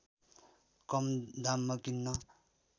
कम दाममा किन्न